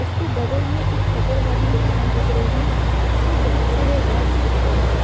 उसके बगल में एक शटर वाली दुकान दिख रही है जिसमें बहोत सारे रैक्स दिख रहे हैं।